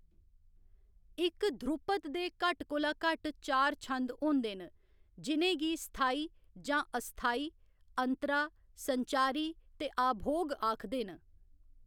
इक ध्रुपद दे घट्ट कोला घट्ट चार छंद होंदे न जि'नेंगी स्थाई जां अस्थाई, अंतरा, संचारी, ते आभोग आखदे न।